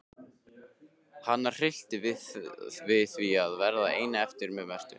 Hana hryllti við því að verða ein eftir með Mörtu.